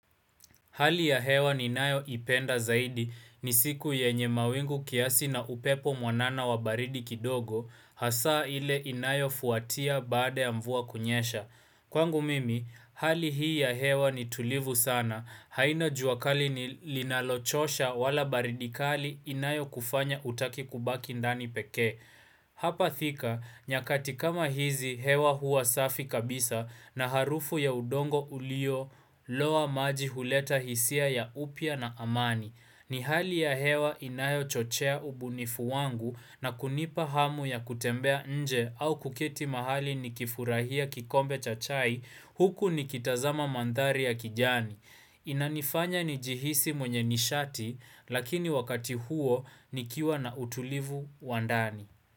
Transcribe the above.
Hali ya hewa ninayo ipenda zaidi ni siku yenye mawingu kiasi na upepo mwanana wa baridi kidogo, hasaa ile inayofuatia baada ya mvua kunyesha. Kwangu mimi, hali hii ya hewa ni tulivu sana, haina jua kali ni linalochosha wala baridi kali inayo kufanya utake kubaki ndani peke. Hapa thika, nyakati kama hizi hewa huwa safi kabisa na harufu ya udongo ulio loa maji huleta hisia ya upya na amani. Ni hali ya hewa inayo chochea ubunifu wangu na kunipa hamu ya kutembea nje au kuketi mahali nikifurahia kikombe cha chai huku nikitazama mandhari ya kijani. Inanifanya ni jihisi mwenye nishati lakini wakati huo nikiwa na utulivu wa ndani.